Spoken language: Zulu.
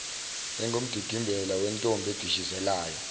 engumdidimbela wentombi edishizelayo